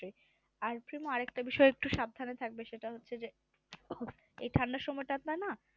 আর এই শোনো আর একটা বিষয়ে সাবধানে থাকবে সেটা হচ্ছে যে এই ঠান্ডার সময়টা আপনার না